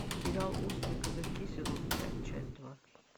сериал острые козырьки сезон пять часть два